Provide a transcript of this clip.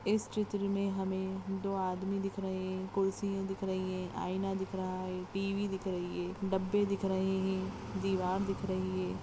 इस चित्र में हमें दो आदमी दिख रहे हैं कुर्सियां दिख रही है आइना दिख रहा है टी.वी दिख रही है डब्बे दिख रही है दीवार दिख रही है।